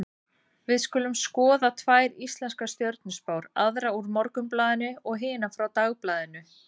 Við skulum skoða tvær íslenskar stjörnuspár, aðra úr Morgunblaðinu og hina frá Dagblaðinu.